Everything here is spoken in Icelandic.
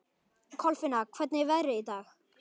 Kolfinna, hvernig er veðrið í dag?